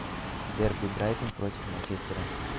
дерби брайтон против манчестера